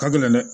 Hakilina dɛ